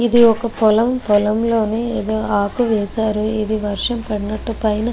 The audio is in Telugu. ఇది ఒక పొలం పొలం లోని ఏదో ఆకు వేసారు ఇది వర్షం పడినట్టు పైన --